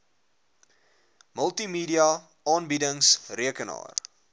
multimedia aanbiedings rekenaar